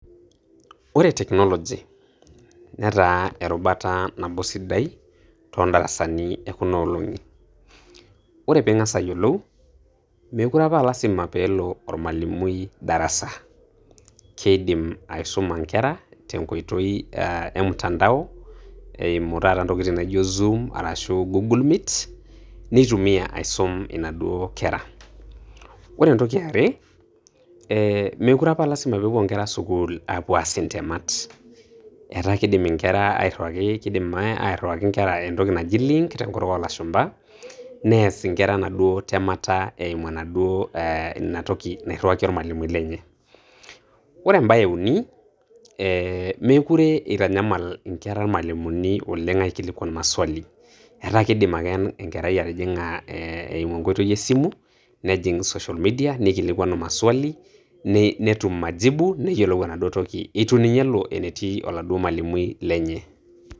Ore technology netaa eruba nabo sidai toondarasani ekuna olong'i. Ore piing'as ayiolou, meekure opa aa lasima peelo ormalimui darasa, keidim aisoma nkera tenkoitoi eah emutandao, eimu taata ntokitin naijo Zoom arashu Google meet neitumia aisum inaduo kera. Ore entoki eare, eeh meekure apa aa lasima peepuo nkera sukuul aapuo aas ntemat, etaa keidim nkera airriwaki, keidim airriwaki nkera entoki naji Link tenkutuk oolashumpa nees nkera enaduo temata eimu enaduo eeh inatoki nairriwaki ormalimui lenye. Ore embae euni, eeh meekure eitanyamal nkera irmalimuni oleng' aikilikuan Maswali, etaa keidim ake enkerai atijing'a eimu enkoitoi esimu, nejing' social Media, neikilikuanu maswali, netum majibu, neyiolou enaduo toki eitu ninye elo enetii oladuo malimui lenye.